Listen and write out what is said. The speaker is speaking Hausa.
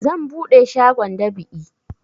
Zan buɗe shagon dab'i